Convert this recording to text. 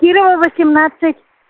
кирова восемнадцать